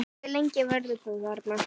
Hve lengi verður þú þarna?